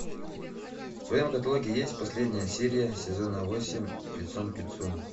в твоем каталоге есть последняя серия сезона восемь лицом к лицу